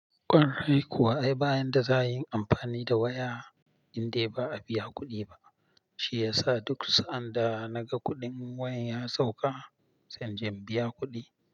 Ƙwarai kuwa, ai bayan da za a yi in yi amfani da waya indai ba a biya kuɗi ba, shi ya sa duk sa'an da naga kuɗin wayan ya sauka, sai inje in biya kuɗi.